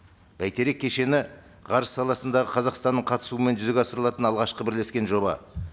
бәйтерек кешені ғарыш саласындағы қазақстанның қатысуымен жүзеге асырылатын алғашқы бірлескен жоба